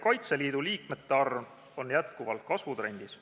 Kaitseliidu liikmete arv on jätkuvalt kasvutrendis.